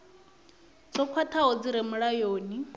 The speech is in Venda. dzo khwathaho dzi re mulayoni